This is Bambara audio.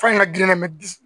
Fa in ka girin mɛ bi